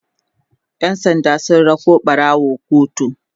ƴan sanda sun rako ɓarawon kotu